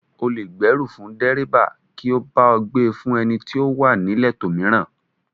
O lè gbèrú fún dẹ́ríbà kí ó bá ọ gbe fún ẹni tí ó wà níletò mìíràn